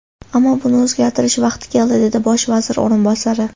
Ammo buni o‘zgartirish vaqti keldi”, dedi Bosh vazir o‘rinbosari.